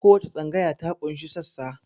Kowace tsangaya ta ƙunshi sassa